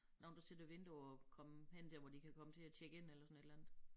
Nogen der sidder og venter på at komme hen dér hvor de kan komme til at tjekke ind eller sådan et eller andet